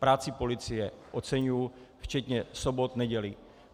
Práci policie oceňuji, včetně sobot, nedělí.